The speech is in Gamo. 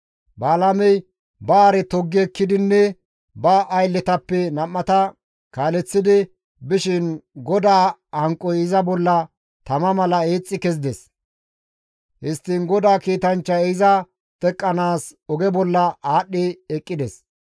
Balaamey ba hare toggi ekkidinne ba aylletappe nam7ata kaaleththidi bishin GODAA hanqoy iza bolla tama mala eexxi kezides; histtiin GODAA kiitanchchay iza teqqanaas oge bolla aadhdhi eqqides.